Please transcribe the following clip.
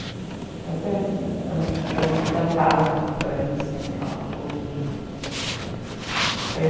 Sempre eh eh fui encantada com a França sei lá aquela coisa